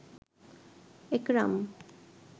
একরাম